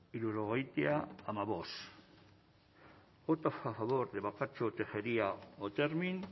irurogeitia amabost votos a favor de bakartxo tejeria otermin